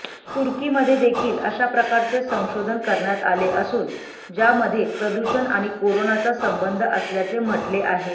तुर्कीमध्येदेखील अशाप्रकारचे संशोधन करण्यात आले असून ज्यामध्ये प्रदूषण आणि कोरोनाचा संबंध असल्याचे म्हटले आहे